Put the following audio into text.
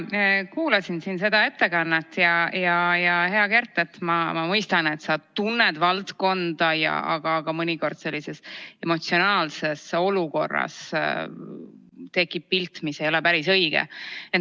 Ma kuulasin seda ettekannet ja, hea Kert, ma mõistan, et sa tunned valdkonda, aga mõnikord tekib sellises emotsionaalses olukorras pilt, mis ei ole päris õige.